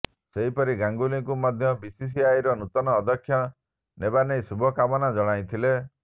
ସେହିପରି ଗାଙ୍ଗୁଲିଙ୍କୁ ମଧ୍ୟ ବିସିସିଆଇର ନୂତନ ଅଧ୍ୟକ୍ଷ ହେବା ନେଇ ଶୁଭକାମନା ଜଣାଇଥିଲେ